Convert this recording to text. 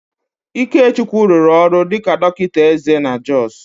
Ikechukwu rụrụ ọrụ dịka dọkịta eze na Jọs